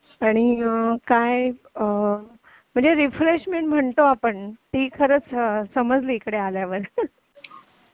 आणि काय म्हणजे रिफ्रेशमेंट म्हणतो आपण ती खरच समजली इकडे आल्यावर